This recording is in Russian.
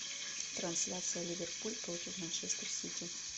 трансляция ливерпуль против манчестер сити